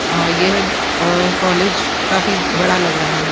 अ यह अ कॉलेज काफी बड़ा लग रहा है।